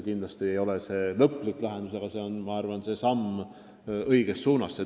Kindlasti ei ole see lõplik lahendus, aga see on minu arvates samm õiges suunas.